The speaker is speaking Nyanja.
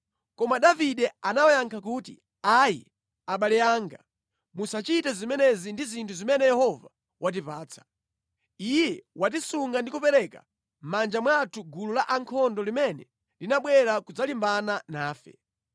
Koma Davide anawayankha kuti, “Ayi, abale anga, musachite zimenezi ndi zinthu zimene Yehova watipatsa. Iye watisunga ndi kupereka mʼmanja mwathu gulu la ankhondo limene linabwera kudzalimbana nafe.